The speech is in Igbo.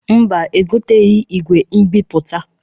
Mba, egoteghi igwe mbipụta.